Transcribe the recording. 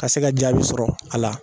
Ka se ka jaabi sɔrɔ a la